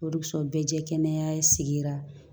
O dessɔn bɛɛ ye kɛnɛya sigira